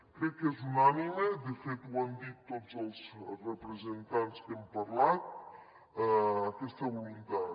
crec que és unànime de fet ho han dit tots els representants que han parlat aquesta voluntat